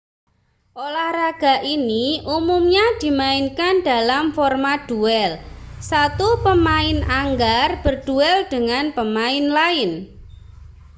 olahraga ini umumnya dimainkan dalam format duel satu pemain anggar berduel dengan pemain lain